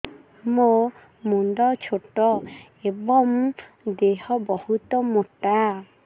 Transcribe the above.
ମୋ ମୁଣ୍ଡ ଛୋଟ ଏଵଂ ଦେହ ବହୁତ ମୋଟା